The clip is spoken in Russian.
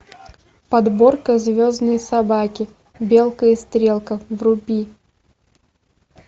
подборка звездные собаки белка и стрелка вруби